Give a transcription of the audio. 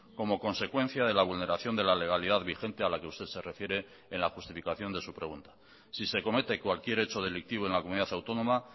como consecuencia de la vulneración de la legalidad vigente a la que usted se refiere en la justificación de su pregunta si se comete cualquier hecho delictivo en la comunidad autónoma